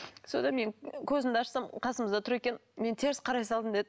содан мен көзімді ашсам қасымызда тұр екен мен теріс қарай салдым деді